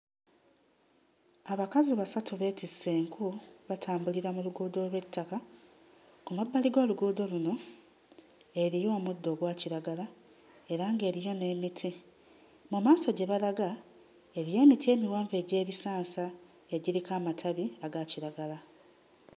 Abakazi basatu beetisse enku, batambulira ku luguudo olw'ettaka. Ku mabbali g'oluguudo luno eriyo omuddo ogwa kiragala era ng'eriyo n'emiti. Mu maaso gye balaga eriyo emiti emiwanvu egy'ebisansa egiriko amatabi agakiragala.